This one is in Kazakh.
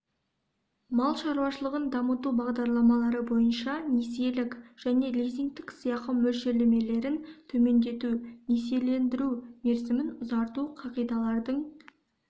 мал шаруашылығын дамыту бағдарламалары бойынша несиелік және лизингтік сыйақы мөлшерлемелерін төмендету несиелендіру мерзімін ұзарту қағидалардың